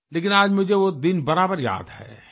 लेकिन आज मुझे वो दिन बराबर याद है